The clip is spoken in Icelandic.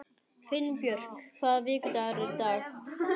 Finnbjörk, hvaða vikudagur er í dag?